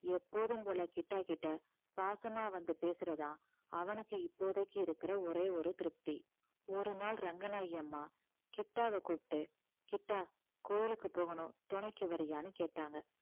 எப்போதும் போல கிட்டா கிட்ட பாசமா வந்து பேசுறதுதான் அவனுக்கு இப்போதைக்கு இருக்குற ஒரே ஒரு திருப்தி ஒரு நாள் ரங்கநாயகியம்மா கிட்டாவை கூப்பிட்டு கிட்டா கோயிலுக்கு போகணும் துணைக்கு வரியான்னு கேட்டாங்க